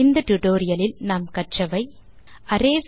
இந்த டியூட்டோரியல் இல் நாம் கற்றவை 1